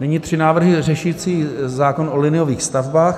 Nyní tři návrhy řešící zákon o liniových stavbách.